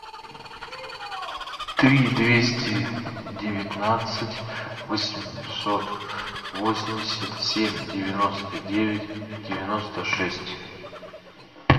три двести девятнадцать восемьсот восемьдесят семь девяносто девять девяносто шесть